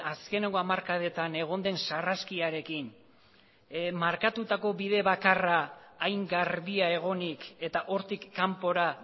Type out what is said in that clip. azkeneko hamarkadetan egon den sarraskiarekin markatutako bide bakarra hain garbia egonik eta hortik kanpora